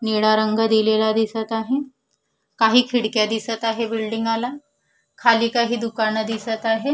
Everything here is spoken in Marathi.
निळा रंग दिलेला दिसत आहे काही खिडक्या दिसत आहे बिल्डिंगा ला खाली काही दुकान दिसत आहे.